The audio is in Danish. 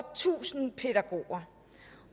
tusind pædagoger